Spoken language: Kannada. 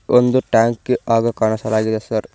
ಒಂದು ಟ್ಯಾಂಕ್ ಹಾಗು ಕಾಣಿಸಲಾಗಿದೆ ಸರ್ .